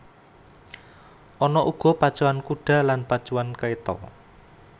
Ana uga pacuan kuda lan pacuan kereta